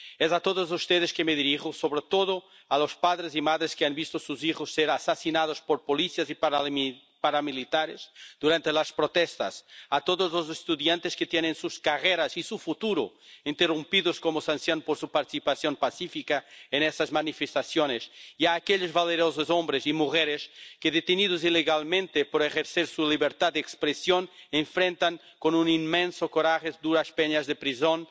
Es a todos ustedes que me dirijo, sobre todo a los padres y madres que han visto a sus hijos ser asesinados por policías y paramilitares durante las protestas, a todos los estudiantes que tienen sus carreras y su futuro interrumpidos como sanción por su participación pacífica en esas manifestaciones, y a aquellos valerosos hombres y mujeres que, detenidos ilegalmente por ejercer su libertad de expresión enfrentan con un inmenso coraje duras penas de prisión,